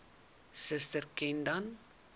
suster ken dan